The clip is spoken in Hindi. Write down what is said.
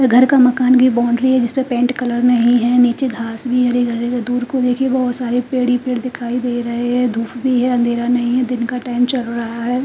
घर का मकान की बॉउंड्री है जिसपे पेंट कलर नही है नीचे घास भी हरी भरी को दूर को देखिए बहुत सारे पेड़ ही पेड़ दिखाई दे रहे हैं धूप भी है अंधेरा नहीं है दिन का टाइम चल रहा हैं।